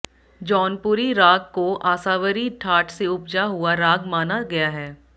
जौनपुरी राग को आसावरी ठाट से उपजा हुआ राग माना गया है